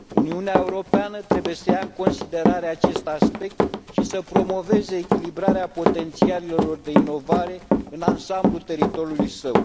Uniunea Europeană trebuie să ia în considerarea acest aspect și să promoveze echilibrarea potențialelor de inovare în ansamblul teritoriului său.